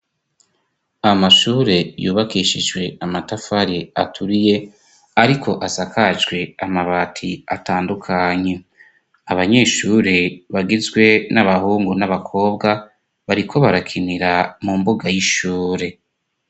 Amashure yubakishijwe amatafari aturiye ariko asakajwe amabati atandukanye, abanyeshure bagizwe n'abahungu n'abakobwa bariko barakinira mu mbuga y'ishure.